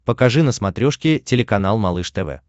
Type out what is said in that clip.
покажи на смотрешке телеканал малыш тв